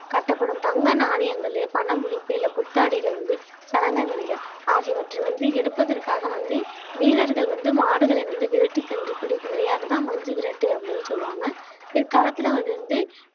கட்டப்படும் தங்க நாணயங்கள் பண முடிப்பு இல்லை புத்தாடைகள் வந்து சலங்கை மணிகள் ஆகியவற்றை வந்து எடுப்பதற்காக வந்து வீரர்கள் வந்து மாடுகளை வந்து விரட்டி சென்ற பிடிக்கும் விளையாட்டுதான் மஞ்சு விரட்டு அப்படின்னு சொல்லுவாங்க பிற்காலத்துல அது வந்து